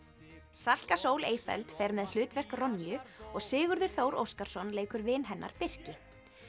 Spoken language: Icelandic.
Salka Sól fer með hlutverk og Sigurður Þór Óskarsson leikur vin hennar Birki